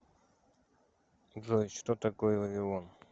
джой что такое вавилон